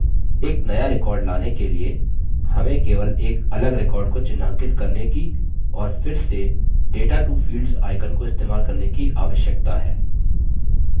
एक नया record लाने के लिए हमें केवल एक अलग record को चिह्नांकित करने की और फिर से data to fields icon को इस्तेमाल करने की आवश्यकता है